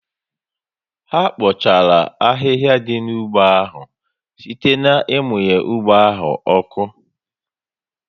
Ha kpochara ahịhịa dị n'ugbo áhù site ná ịmunye ụgbọ áhù oku